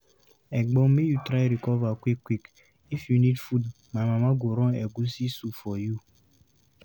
Egbon, make you try recover quick-quick! If you need food, my mama go run egusi soup for you.